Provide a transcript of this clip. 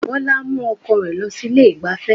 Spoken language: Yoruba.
Bọlá mú ọkọ rẹ̀ lọ sí ilé ìgbáfẹ́